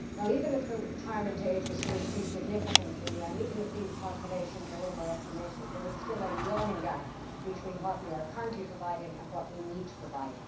Even if the retirement age were to rise significantly and even if these calculations are over estimated, there is still a yawning gap between what we are currently providing and what we need to provide.